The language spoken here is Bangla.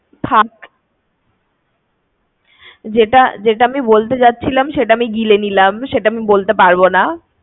অধিকার আছে আমাদের। যেটা আমি বলতে যাচ্ছিলাম, সেটা আমি গিলে নিলাম, সেটা আমি বলতে পারবোনা।